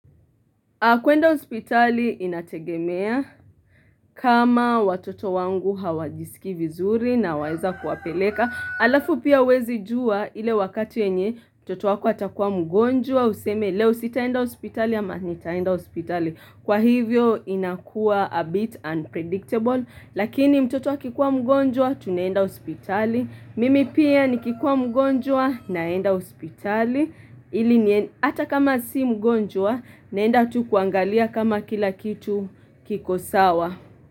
Kwenda hospitali inategemea kama watoto wangu hawajisikii vizuri naweza kuwapeleka. Alafu pia huwezi jua ile wakati yenye mtoto wako atakuwa mgonjwa useme leo sitaenda hospitali ama nitaenda hospitali Kwa hivyo inakuwa a bit unpredictable lakini mtoto akikua mgonjwa tunaenda hospitali. Mimi pia nikikuwa mgonjwa naenda hospitali. Hili ni, hata kama si mgonjwa naenda tu kuangalia kama kila kitu kiko sawa.